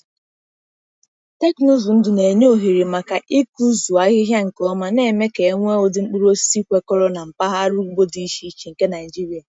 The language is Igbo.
Teknụzụ ndụ na-enye ohere maka ịkụzụ ahịhịa nke ọma, na-eme ka e nwee ụdị mkpụrụ osisi kwekọrọ na mpaghara ugbo dị iche iche nke Naijiria.